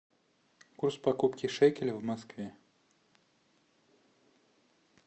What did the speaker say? курс покупки шекеля в москве